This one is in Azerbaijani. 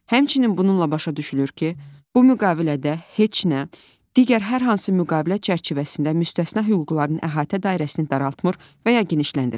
Həmçinin bununla başa düşülür ki, bu müqavilədə heç nə digər hər hansı müqavilə çərçivəsində müstəsna hüquqların əhatə dairəsini daraltmır və ya genişləndirmir.